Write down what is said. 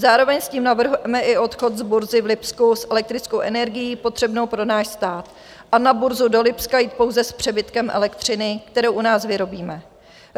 Zároveň s tím navrhujeme i odchod z burzy v Lipsku s elektrickou energií potřebnou pro náš stát a na burzu do Lipska jít pouze s přebytkem elektřiny, kterou u nás vyrobíme.